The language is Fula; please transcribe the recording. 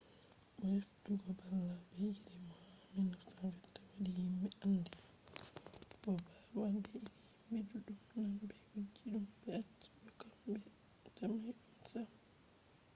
bo heftugo babal be iri mo ha 1922 wadi himbe andi mo. bo babbal be iri himbe duddum nane be wujji dum be acci do kam be damai dum sam